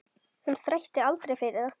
Hún þrætti aldrei fyrir það.